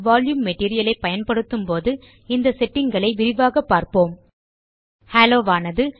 volume material ஐ பயன்படுத்தும் போது இந்த செட்டிங் களை விரிவாக பார்ப்போம் ஹாலோ ஆனது